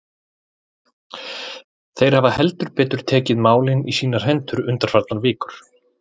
Þeir hafa heldur betur tekið málin í sínar hendur undanfarnar vikur.